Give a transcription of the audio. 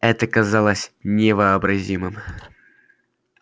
это казалось невообразимым